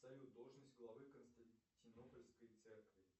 салют должность главы константинопольской церкви